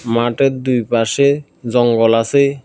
মাটের দুই পাশে জঙ্গল আসে।